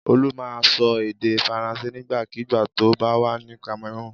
Olú máa ń sọ èdè Faransé nígbàkigbà tó bá wà ní Cameroon.